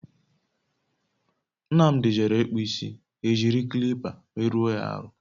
Nnamdi jere ikpu isi, ha e jiri kilipa merụ ọ ya ahụ